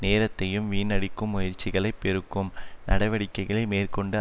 நேரத்தையும் வீணடிக்கும் முயற்சிகளை பெருக்கும் நடவடிக்கைகளை மேற்கொண்டு